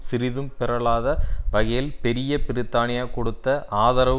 சிறிதும் பிறழாத வகையில் பெரிய பிரித்தானியா கொடுத்த ஆதரவு